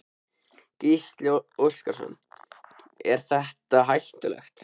Gísli Óskarsson: Er þetta er hættulegt?